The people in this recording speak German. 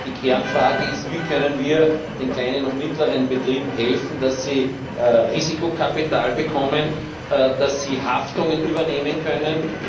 Und die Kernfrage ist Wie können wir den kleinen und mittleren Betrieben helfen, dass sie Risikokapital bekommen, dass sie Haftungen übernehmen können?